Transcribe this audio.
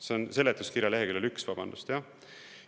See on seletuskirja leheküljel 1, vabandust!